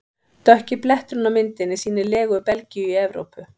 Dökki bletturinn á myndinni sýnir legu Belgíu í Evrópu.